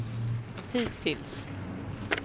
hittills